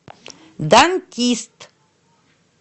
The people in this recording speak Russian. дантист